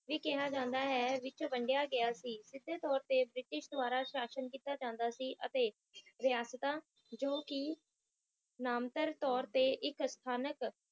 ਵੀ ਕਿਹਾ ਜਾਂਦਾ ਹੈ ਵਿੱਚ ਵੰਡੀਆਂ ਗਿਆ ਸੀ ਸੀਧੇ ਤੋਰ ਤੇ ਬ੍ਰਿਟਿਸ਼ ਦ੍ਵਾਰਾ ਸ਼ਾਸਨ ਕੀਤਾ ਜਾਂਦਾ ਸੀ ਅਤੇ ਰਿਆਸਤਾ ਜੋ ਕਿ ਨਾਮਤਰ ਤੋਰ ਤੇ ਇੱਕ ਸਥਾਨਕ